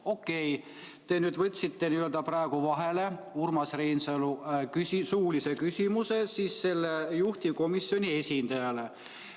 Okei, te nüüd võtsite vahele Urmas Reinsalu suulise küsimuse juhtivkomisjoni esindajale.